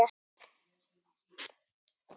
Daginn eftir skildu leiðir.